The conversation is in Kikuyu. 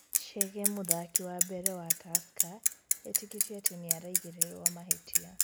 Chege: Mũthaki wa mbere wa Tursker etĩkĩtĩe atĩ nĩ araigĩrĩrwo mahĩtia